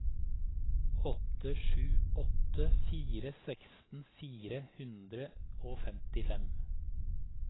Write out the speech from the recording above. åtte sju åtte fire seksten fire hundre og femtifem